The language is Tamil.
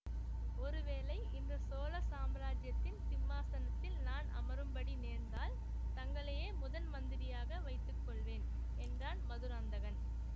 ஒருவேளை இந்த சோழ சாம்ராஜ்யத்தின் சிம்மாசனத்தில் நான் அமரும்படி நேர்ந்தால் தங்களையே முதன் மந்திரியாக வைத்துக்கொள்வேன் என்றான் மதுராந்தகன்